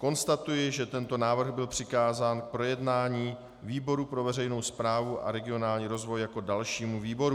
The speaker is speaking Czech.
Konstatuji, že tento návrh byl přikázán k projednání výboru pro veřejnou správu a regionální rozvoj jako dalšímu výboru.